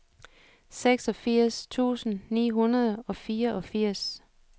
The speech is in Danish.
seksogfirs tusind ni hundrede og fireogfirs